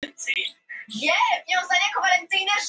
auk þess hefur þriðji meðlimur hröfnungaættarinnar